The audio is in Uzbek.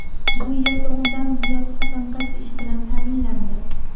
Bu yerda o‘ndan ziyod xotin-qiz ish bilan ta’minlandi.